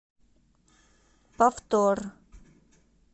повтор